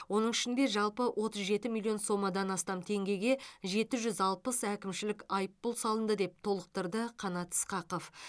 оның ішінде жалпы отыз жеті миллион сомадан астам теңгеге жеті жүз алпыс әкімшілік айыппұл салынды деп толықтырды қанат ысқақов